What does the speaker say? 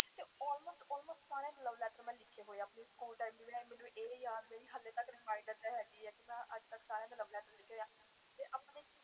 ਮੈਂ ਸਾਰੇ love letter ਲਿਖੇ ਹੋਏ ਸੀ ਮੈਨੂੰ ਅਜੇ ਤਕ ਯਾਦ ਆ ਕਿ ਮੈਂ ਸਬ ਦੇ love letter ਲਿਖੇ ਹੋਏ ਆ